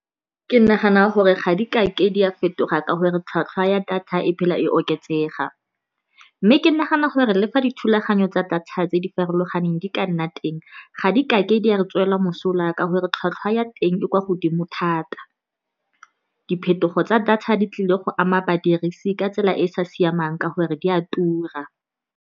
Ke nagana gore ga di kake di a fetoga ka gore tlhwatlhwa ya data e phela e oketsega. Mme ke nagana gore le fa dithulaganyo tsa data tse di farologaneng di ka nna teng, ga di kake di a re tswela mosola ka gore tlhwatlhwa ya teng e kwa godimo thata. Diphetogo tsa data di tlile go ama badirisi ka tsela e e sa siamang, ka gore di a tura.